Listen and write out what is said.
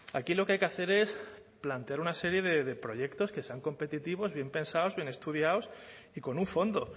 aquí lo que hay que hacer es plantear una serie de proyectos que sean competitivos bien pensados bien estudiados y con un fondo